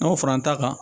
N'anw fara n ta kan